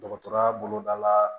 Dɔgɔtɔrɔya boloda la